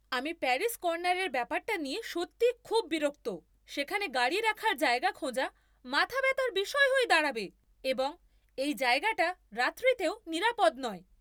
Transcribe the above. আমি প্যারি'স কর্নারের ব্যাপারটা নিয়ে সত্যিই খুব বিরক্ত। সেখানে গাড়ি রাখার জায়গা খোঁজা মাথা ব্যথার বিষয় হয়ে দাঁড়াবে, এবং এই জায়গাটা রাত্তিরেও নিরাপদ নয়।